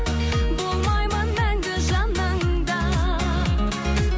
болмаймын мәңгі жаныңда